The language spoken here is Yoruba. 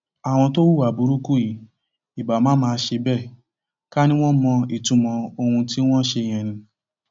àwọn tó hùwà burúkú yìí ibà má má ṣe bẹẹ ká ní wọn mọ ìtumọ ohun tí wọn ṣe yẹn ni